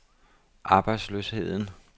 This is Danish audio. arbejdsløsheden